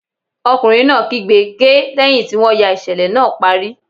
Ọkùnrin náà kígbe "ge" lẹ́hìn tí wọ́n ya ìṣẹ̀lẹ̀ náà parí.